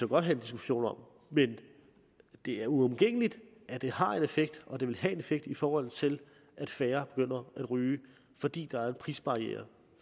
godt have en diskussion om men det er uomgængeligt at det har en effekt og at det vil have en effekt i forhold til at færre begynder at ryge fordi der er en prisbarriere